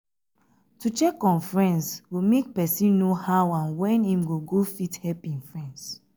to check on friends go make persin know how and when im go go fit help im friends